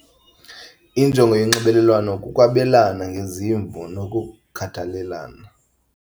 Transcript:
Injongo yonxibelelwano kukwabelana ngezimvo nokukhathalelana.